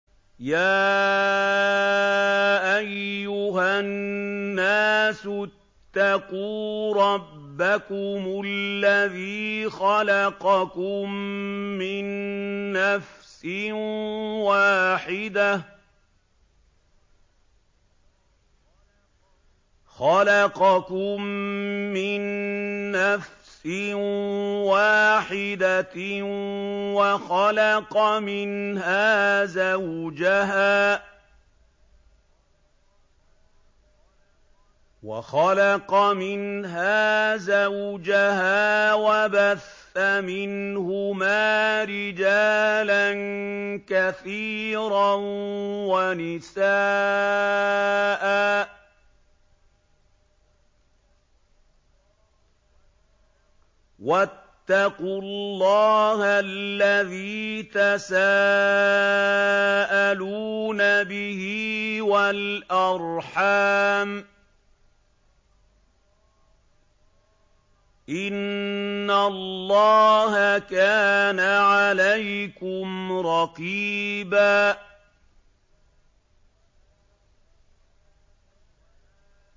يَا أَيُّهَا النَّاسُ اتَّقُوا رَبَّكُمُ الَّذِي خَلَقَكُم مِّن نَّفْسٍ وَاحِدَةٍ وَخَلَقَ مِنْهَا زَوْجَهَا وَبَثَّ مِنْهُمَا رِجَالًا كَثِيرًا وَنِسَاءً ۚ وَاتَّقُوا اللَّهَ الَّذِي تَسَاءَلُونَ بِهِ وَالْأَرْحَامَ ۚ إِنَّ اللَّهَ كَانَ عَلَيْكُمْ رَقِيبًا